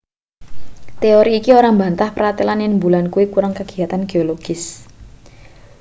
teori iki ora mbantah pratelan yen mbulan kuwi kurang kagiyatan geologis